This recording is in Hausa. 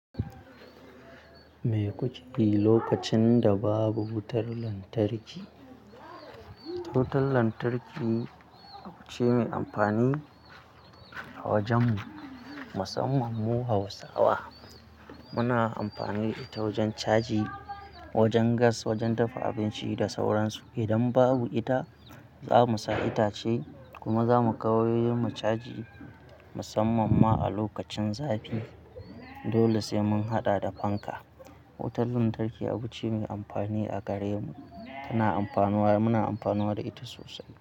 Me kuke yi lokacin da babu wutan lantarki? Wutan lantarki abu ce mai amfani a wajenmu, musamman mu Hausawa. Muna amfani da ita wajen caji, wajen gas, wajen dafa abinci da sauran su. Idan babu ita, za mu sa itace kuma za mu kai wayoyin mu caji musamman ma a lokacin zafi. Dole sai mun haɗa da fanka. Wutan lantarki abu ce mai amfani a gare mu. Tana amfanuwa, muna amfanuwa da ita sosai.